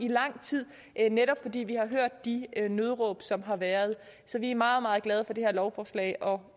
lang tid netop fordi vi har hørt de nødråb som har været så vi er meget meget glade for det her lovforslag og